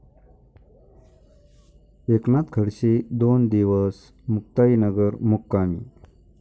एकनाथ खडसे दोन दिवस मुक्ताईनगर मुक्कामी